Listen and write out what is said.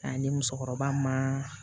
ni musokɔrɔba ma